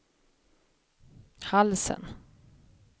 halsen